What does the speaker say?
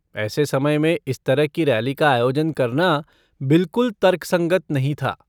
ऐसे समय में इस तरह की रैली का आयोजन करना बिल्कुल तर्कसंगत नहीं था।